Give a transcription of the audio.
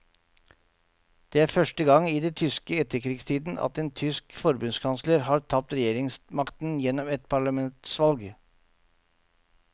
Det er første gang i den tyske etterkrigstiden at en tysk forbundskansler har tapt regjeringsmakten gjennom et parlamentsvalg.